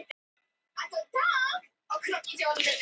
Hann sem hafði gert sér í hugarlund að hún hefði mjög fallega rithönd.